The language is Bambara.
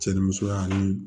Cɛ ni musoya ani